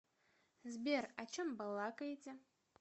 сбер о чем балакаете